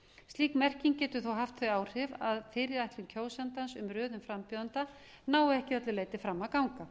slík merking getur þó haft þau áhrif að fyrirætlun kjósandans um röðun frambjóðenda nái ekki að öllu leyti fram að ganga